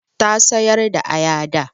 Ta sayar da aya da.